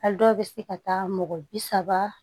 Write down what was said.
A dɔw bɛ se ka taa mɔgɔ bi saba